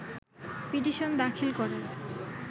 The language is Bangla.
পিটিশন দাখিল করার